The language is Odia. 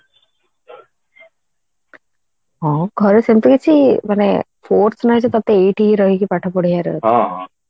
ହଁ ଘରେ ସେମଟି କିଛି ମାନେ force ନାହିଁ ଯେ ତତେ ଏଇଠି ହିଁ ରହିକି ପାଠ ପଢିବାର ଅଛି